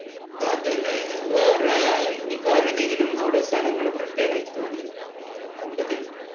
അതല്ലേ വേറെ, വേറെ എന്തെങ്കിലും ഇങ്ങനെ സ്ഥലങ്ങൾ പ്രത്യേകമായി തോന്നിയിരുന്നോ, കണ്ടതിൽ?